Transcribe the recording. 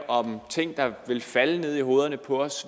om ting der vil falde ned i hovedet på os